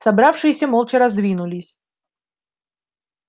собравшиеся молча раздвинулись